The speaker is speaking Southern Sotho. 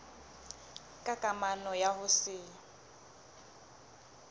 ka kamano ya ho se